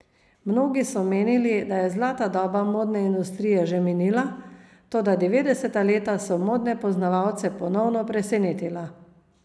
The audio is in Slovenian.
Mnogi so menili, da je zlata doba modne industrije že minila, toda devetdeseta leta so modne poznavalce ponovno presenetila.